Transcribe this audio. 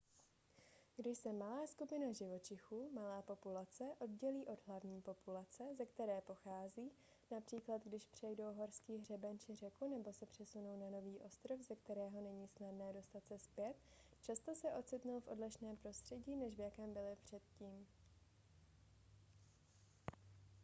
když se malá skupina živočichů malá populace oddělí od hlavní populace ze které pochází například když přejdou horský hřeben či řeku nebo se přesunou na nový ostrov ze kterého není snadné dostat se zpět často se ocitnou v odlišném prostředí než v jakém byli předtím